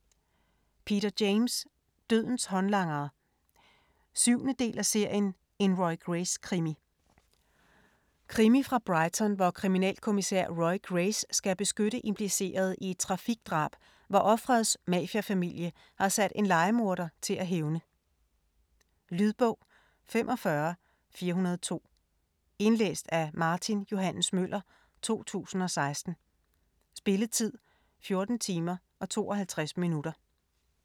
James, Peter: Dødens håndlangere 7. del af serien En Roy Grace krimi. Krimi fra Brighton, hvor kriminalkommissær Roy Grace skal beskytte implicerede i et trafikdrab, hvor ofrets mafiafamilie har sat en lejemorder til at hævne. Lydbog 45402 Indlæst af Martin Johs. Møller, 2016. Spilletid: 14 timer, 52 minutter.